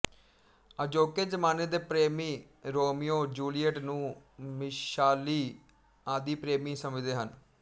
ਅਜੋਕੇ ਜ਼ਮਾਨੇ ਦੇ ਪ੍ਰੇਮੀ ਰੋਮੀਓ ਜੂਲੀਅਟ ਨੂੰ ਮਿਸ਼ਾਲੀ ਆਦਿਪ੍ਰੇਮੀ ਸਮਝਦੇ ਹਨ